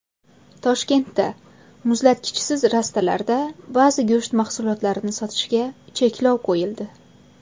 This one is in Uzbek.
Toshkentda muzlatkichsiz rastalarda ba’zi go‘sht mahsulotlarini sotishga cheklov qo‘yildi.